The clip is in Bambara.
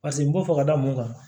Paseke n b'o fɔ ka da mun kan